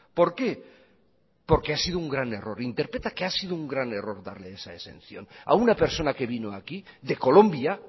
por qué porque ha sido un gran error interpreta que ha sido un gran error darle esa exención a una persona que vino aquí de colombia